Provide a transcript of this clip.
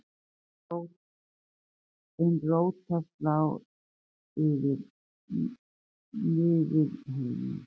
ein rót þess lá yfir niflheimi